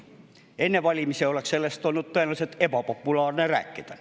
Enne valimisi oleks sellest olnud tõenäoliselt ebapopulaarne rääkida.